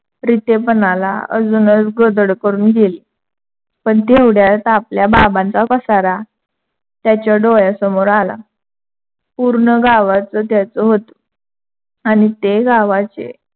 प्रीतेपणाला अजूनच गोदडं करुन गेली. पण तेवढ्यात आपल्या बाबांचा पसारा त्याच्या डोळ्यासमोर आला. पूर्ण गावाचं त्‍याचं होतं आणि ते गावाचे